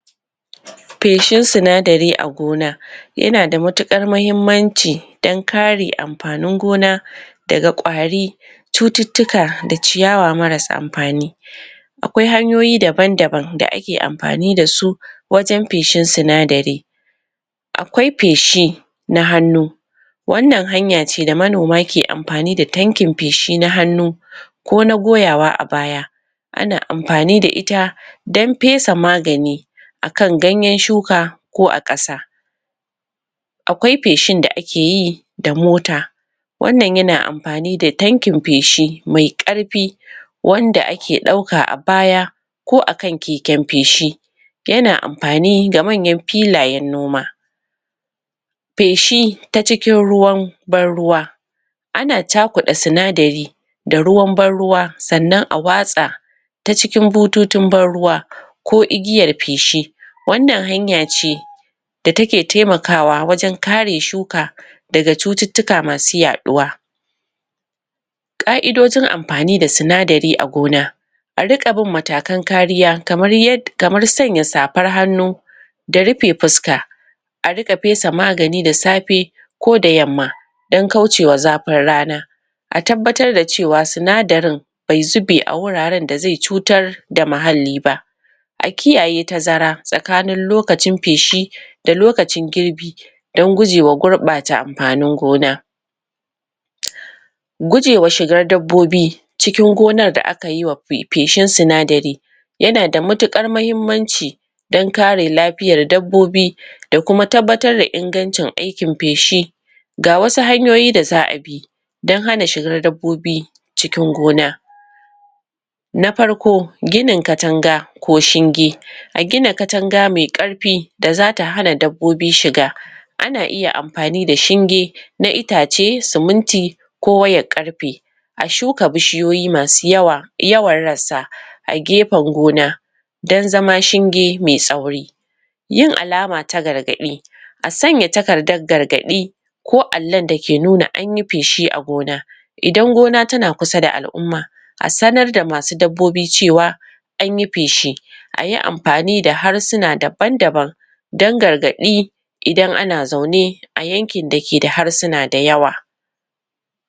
feshin sinadari a gona yanada matukar mahimmanci dan kare anfani gona daga ƙwari cututuka da ciyawa marasa anfani akwai hanyoyi dabandaban da aki anfani dasu wajan feshin sinadari akwai feshi na hannu wannan hanyaci da manoma ki anfani da tanki feshi na hanu ko na goyawa a baya ana anfani da ita dan fesa magani akan ganyan shuka ko a ƙasa akwai feshin da aki yi da mota wannan yana anfani da tanki feshi mai ƙarfi wanda aki dauka a baya ko akan kikin feshi yana anfani da manyan filayan noma fedhi ta cikin ruwan ban-ruwa ana cakuɗa sinadari da ruwa ban-ruwa sanan a watsa ta cikin bututun ban-ruwa ko igiyar feshi wannan hanyace da take taimakawa wajan kare shuka daga cutuka masu yaɗuwa ƙaidojin anfani da sinadari a gona aringa bin matakan kariya kamar yar kanmar sanya safar hanu da rufe fuska aringa fesa magani da safe koda yamma dan kaucewa zafin rana a tabbatar da cewa sinadarin bai zube a goraran da zai cutar da mahalli ba akiyaye tazara tsakani lokacin feshi da lokacin girbi dan gujewa gurɓata anfanin gona gujewa shigar dabbobi cikin gonan da akayiwa feshin sinadari yanada matuƙar mahimmamci dan kare lafiyan dabbobi dakuma tabbatar da ingacin aikin feshi gawasu hanyoyi da za'a bi dan hana shigar dabbobi cikin gona na farko ginin katanda ko shinge a gina katanda mai karfi da zata hana dabbobi shiga ana iya anfani da shige na itace siminti ko wayar ƙarfe a shuka bishiyoyi masu yawa yawa ransa a gefan gona dan zama shinge mai tsauri yin alama ta gargaɗi a sanya takardan gargaɗi ko allon daki nuna anyi feshi a gona idan gona tana kusa da al'umma a sanar da masu dabbobi cewa anye feshi ayi anfani da harshina daban daban da gargaɗi idan ana zaune ayankin dakida harshina dayawa